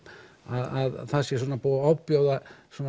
það sé búið að ofbjóða